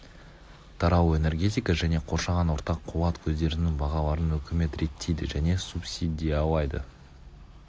тарау энергетика және қоршаған орта қуат көздерінің бағаларын үкімет реттейді және субсидиялайды